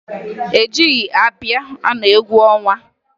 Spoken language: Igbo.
E jighi ábịà anọ egwu ọnwa.